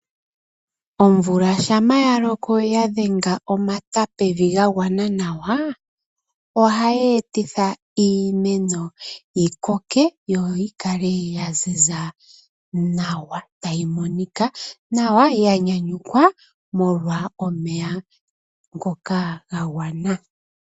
Omvula shampa ya loko ya dhenga omata pevi ga gwana nawa ojayeetitha iimeno yi koke nawa yo yikale ya ziza nawa tayi monoka nawa yanyunyikws omolwa omeya ngoka ogendji.